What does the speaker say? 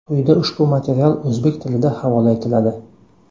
Quyida ushbu material o‘zbek tilida havola etiladi.